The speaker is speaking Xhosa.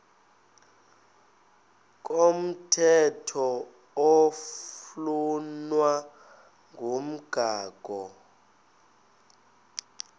komthetho oflunwa ngumgago